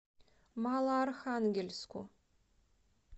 малоархангельску